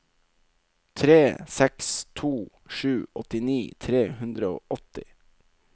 tre seks to sju åttini tre hundre og åtti